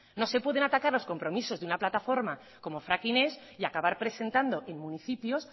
no se pueden atacar los compromisos de una plataforma como fracking ez y acabar presentando en municipios